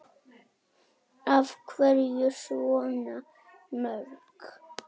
Af hverju svona mörg?